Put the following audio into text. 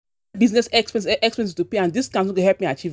expenses to pay and discounts no go help me achieve